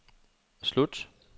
slut